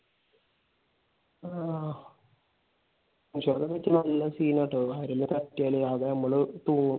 ആഹ് വീട്ടിൽ നല്ല scene ആട്ടോ. കാര്യമെന്ന് പറഞ്ഞാൽ നമ്മൾ തൂങ്ങും.